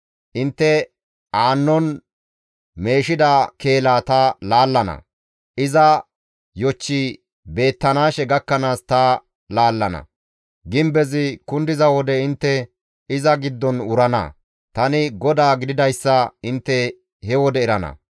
Intte aannon meeshida keelaa ta laallana; iza yochchi beettanaashe gakkanaas ta laallana; gimbezi kundiza wode intte iza giddon wurana; tani GODAA gididayssa intte he wode erana.